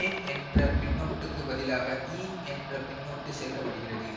ஏன் என்ற பின்னொட்டுக்குப் பதிலாக யீன் என்ற பின்னொட்டு சேர்க்க படுகிறது